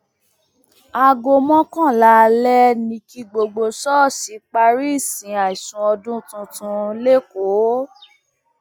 aago mọkànlá alẹ ni kí gbogbo ṣọọṣì parí ìsìn àìsùn ọdún tuntun lẹkọọ